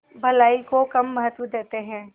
भलाई को कम महत्व देते हैं